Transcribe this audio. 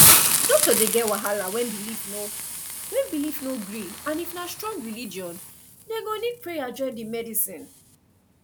doctor dey get wahala when belief no when belief no gree and if na strong religion dem go need prayer join the medicine